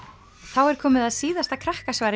þá er komið að síðasta